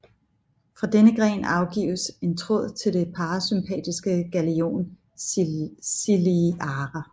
Fra denne gren afgives en tråd til det parasympatiske ganglion ciliare